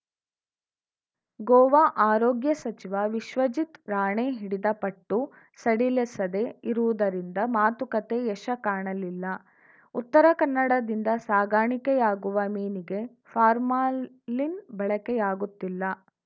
ಗೋವಾ ಆರೋಗ್ಯ ಸಚಿವ ವಿಶ್ವಜಿತ್‌ ರಾಣೆ ಹಿಡಿದ ಪಟ್ಟು ಸಡಿಲಿಸದೆ ಇರುವುದರಿಂದ ಮಾತುಕತೆ ಯಶ ಕಾಣಲಿಲ್ಲ ಉತ್ತರ ಕನ್ನಡದಿಂದ ಸಾಗಣೆಯಾಗುವ ಮೀನಿಗೆ ಫಾರ್ಮಾಲಿನ್‌ ಬಳಕೆಯಾಗುತ್ತಿಲ್ಲ